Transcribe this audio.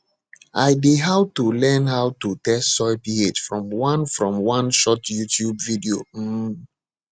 i dey how to learn how to test soil ph from one from one short youtube video um